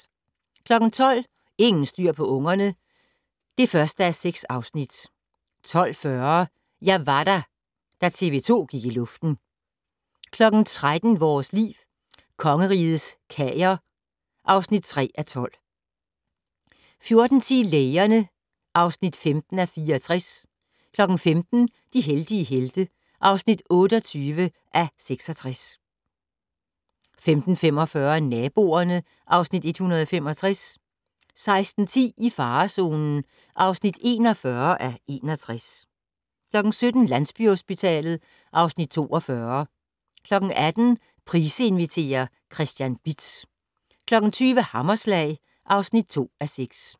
12:00: Ingen styr på ungerne (1:6) 12:40: Jeg var der - da TV 2 gik i luften 13:00: Vores Liv: Kongerigets Kager (3:12) 14:10: Lægerne (15:64) 15:00: De heldige helte (28:66) 15:45: Naboerne (Afs. 165) 16:10: I farezonen (41:61) 17:00: Landsbyhospitalet (Afs. 42) 18:00: Price inviterer - Christian Bitz 20:00: Hammerslag (2:6)